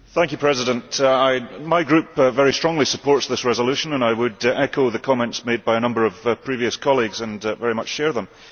Mr President, my Group very strongly supports this resolution and I would echo the comments made by a number of previous colleagues and very much share them.